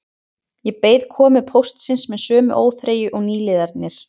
Ég beið komu póstsins með sömu óþreyju og nýliðarnir